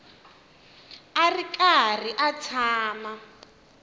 a ri karhi a tshama